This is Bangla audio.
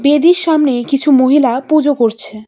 বেদির সামনে কিছু মহিলা পুজো করছে।